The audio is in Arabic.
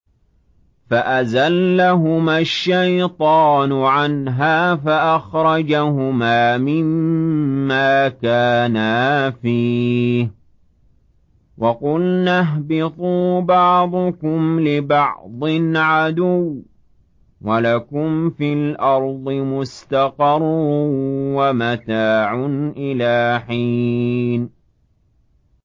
فَأَزَلَّهُمَا الشَّيْطَانُ عَنْهَا فَأَخْرَجَهُمَا مِمَّا كَانَا فِيهِ ۖ وَقُلْنَا اهْبِطُوا بَعْضُكُمْ لِبَعْضٍ عَدُوٌّ ۖ وَلَكُمْ فِي الْأَرْضِ مُسْتَقَرٌّ وَمَتَاعٌ إِلَىٰ حِينٍ